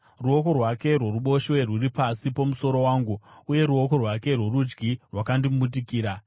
Ruoko rwake rworuboshwe rwuri pasi pomusoro wangu, uye ruoko rwake rworudyi rwakandimbundikira.